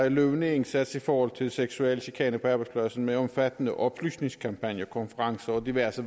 en løbende indsats i forhold til seksuel chikane på arbejdspladsen med en omfattende oplysningskampagne konferencer og diverse